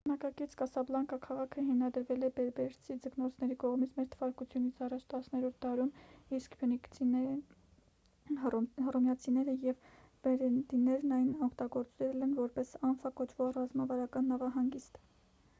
ժամանակակից կասաբլանկա քաղաքը հիմնադրվել է բերբերցի ձկնորսների կողմից մ.թ.ա. 10-րդ դարում իսկ փյունիկացիները հռոմեացիները և մերենիդներն այն օգտագործել են որպես անֆա կոչվող ռազմավարական նավահանգիստ